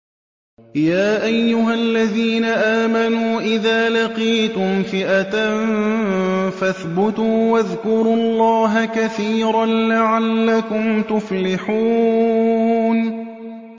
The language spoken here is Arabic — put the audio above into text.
يَا أَيُّهَا الَّذِينَ آمَنُوا إِذَا لَقِيتُمْ فِئَةً فَاثْبُتُوا وَاذْكُرُوا اللَّهَ كَثِيرًا لَّعَلَّكُمْ تُفْلِحُونَ